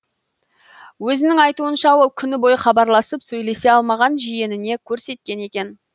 өзінің айтуынша ол күні бойы хабарласып сөйлесе алмаған жиеніне көрсеткен екен